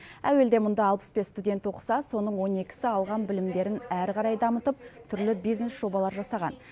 әуелде мұнда алпыс бес студент оқыса соның он екісі алған білімдерін әрі қарай дамытып түрлі бизнес жобалар жасаған